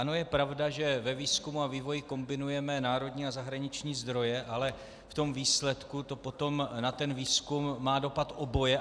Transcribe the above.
Ano, je pravda, že ve výzkumu a vývoji kombinujeme národní a zahraniční zdroje, ale v tom výsledku to potom na ten výzkum má dopad oboje.